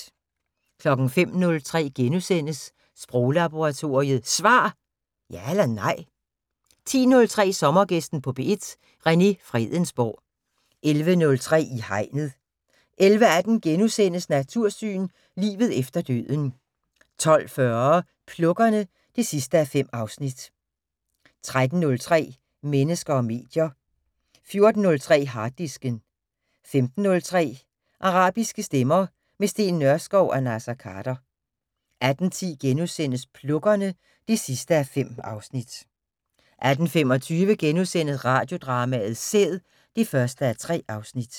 05:03: Sproglaboratoriet: Svar! Ja eller nej? * 10:03: Sommergæsten på P1: René Fredensborg 11:03: I Hegnet 11:18: Natursyn: Livet efter døden * 12:40: Plukkerne (5:5) 13:03: Mennesker og medier 14:03: Harddisken 15:03: Arabiske stemmer - med Steen Nørskov og Naser Khader 18:10: Plukkerne (5:5)* 18:25: Radiodrama: Sæd (1:3)*